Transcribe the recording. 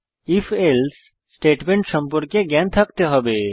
if else statement সম্পর্কে জ্ঞান থাকতে হবে